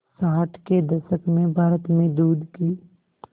साठ के दशक में भारत में दूध की